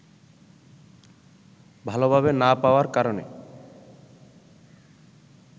ভালভাবে না পাওয়ার কারণে